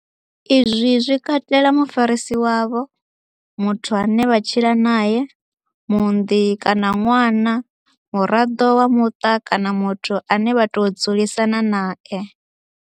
Izwi zwi katela mufarisi wavho, muthu ane vha tshila nae, muunḓi kana ṅwana, muraḓo wa muṱa kana muthu ane vha tou dzulisana nae.